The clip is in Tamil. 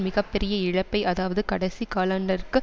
மிக பெரிய இழப்பை அதாவது கடைசி காலாண்டற்கு